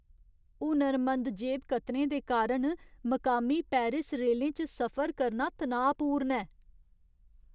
हुनरमंद जेबकतरें दे कारण मकामी पेरिस रेलें च सफर करना तनाऽपूर्ण ऐ।